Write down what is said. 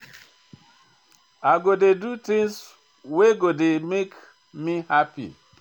I go dey do tins wey go dey make me hapi.